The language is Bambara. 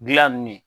Gilan nun ye